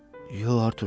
Yox, Artur.